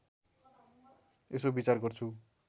यसो विचार गर्छु